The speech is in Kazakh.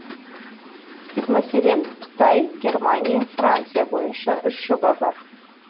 мәселен қытай германия франция бойынша үш жоба бар